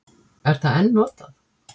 Er það enn notað?